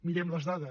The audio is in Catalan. mirem les dades